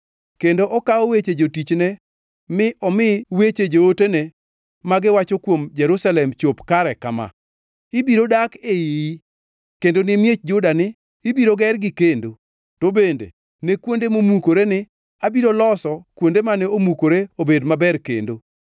kendo okawo weche jotichne mi omi weche jootene, “ma giwacho kuom Jerusalem chop kare kama: ‘Ibiro dak e iyi,’ kendo ne miech Juda ni, ‘Ibiro gergi kendo,’ to bende ne kuonde momukore ni, ‘Abiro loso kuonde mane omukore obed maber kendo,’